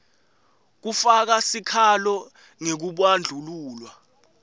kufaka sikhalo ngekubandlululwa